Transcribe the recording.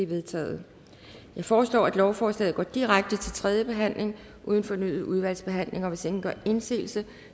er vedtaget jeg foreslår at lovforslaget går direkte til tredje behandling uden fornyet udvalgsbehandling hvis ingen gør indsigelse